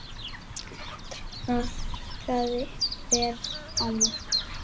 Traðkað verið á mörkum.